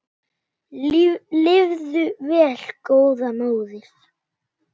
Lifðu vel góða móðir.